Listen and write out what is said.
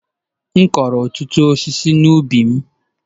M kụrụ ọtụtụ osisi n'ubi m.